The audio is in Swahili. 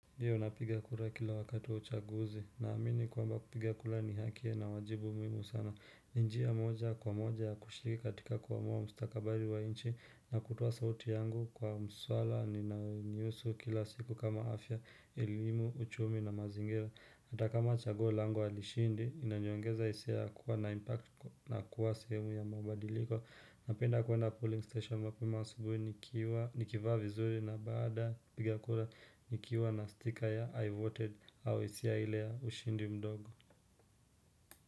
Iyo napiga kura kila wakati wa uchaguzi, na amini kwamba kupiga kura ni hakia na wajibu muhimu sana. Ni njia moja kwa moja ya kushiriki katika kuamua mstakabali wa nchi na kutoa sauti yangu kwa mswala ninayonihusu kila siku kama afya, elimu, uchumi na mazingira. Hata kama chaguo langu halishindi, inaniongeza hisia ya kuwa na impact na kuwa sehemu ya mabadiliko. Napenda kuenda polling station mapema asubuhi nikiwa nikivaa vizuri na baada kupiga kura nikiwa na sticker ya I voted au hisia ile ya ushindi mdogo.